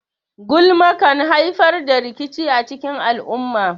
Gulma kan haifar da rikici a cikin al'umma.